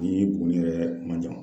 Ni Buguni yɛrɛ man jan